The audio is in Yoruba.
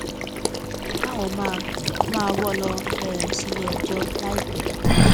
alukoro ọlọpàá làwọn máa máa wọ ọ lọ um síléẹjọ láìpẹ